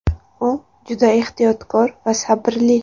U juda ehtiyotkor va sabrli.